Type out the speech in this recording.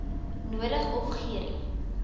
nodig of gerie